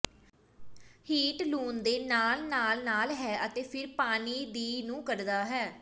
heat ਲੂਣ ਦੇ ਨਾਲ ਨਾਲ ਨਾਲ ਹੈ ਅਤੇ ਫਿਰ ਪਾਣੀ ਦੀ ਨੂੰ ਕੱਢਦਾ ਹੈ